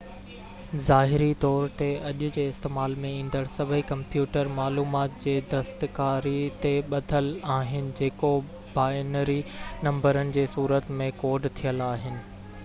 ظاهري طور تي اڄ جي استعمال ۾ ايندڙ سڀئي ڪمپيوٽر معلومات جي دستڪاري تي ٻڌل آهن جيڪو بائنري نمبرن جي صورت ۾ ڪوڊ ٿيل آهن